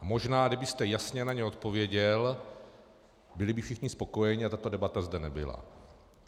A možná kdybyste jasně na ně odpověděl, byli by všichni spokojeni a tato debata zde nebyla.